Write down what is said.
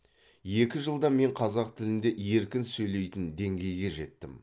екі жылда мен қазақ тілінде еркін сөйлейтін деңгейге жеттім